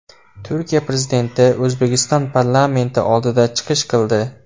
Turkiya Prezidenti O‘zbekiston parlamenti oldida chiqish qildi.